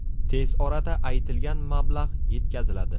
Tez orada aytilgan mablag‘ yetkaziladi.